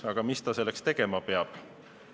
Aga mis ta selleks tegema peab?